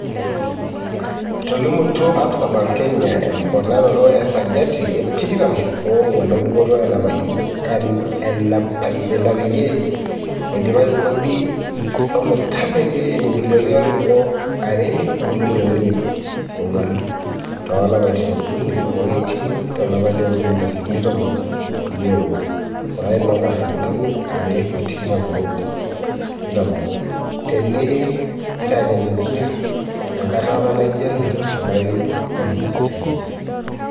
Etolimutuo Absa Bank Kenya emponaroto e sajati e tikitam onguan e dupoto enapeyie edipayu kodi ometabaiki ibilioni are o milioni iip onguan toolapaitin okuni oiting to lapa leokuni ntarikini ntomon uni oobo, olari loonkalifuni are o tikitam oobo, tenintanyanyukia enkata apa naajio ena tolari otulusoyia.